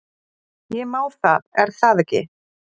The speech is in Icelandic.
Ég má það er það ekki?